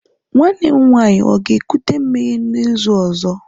nwanne m nwanyi ga-ekuta mmiri n'izu ozo?